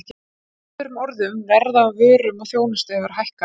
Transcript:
Með öðrum orðum, verð á vörum og þjónustu hefur hækkað.